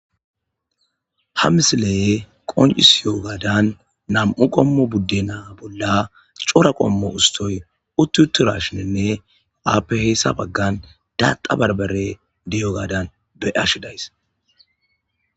Ha misileye qoncis yoogadan nam'u qommo budde naa bolla cora qommo ustoy utti uturashininne aape heyssa baggan daata barbare diyo gadan be ashi days.